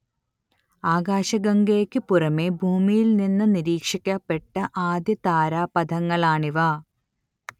ആകാശഗംഗയ്ക്ക് പുറമെ ഭൂമിയിൽ നിന്ന് നിരീക്ഷിക്കപ്പെട്ട ആദ്യ താരാപഥങ്ങളാണിവ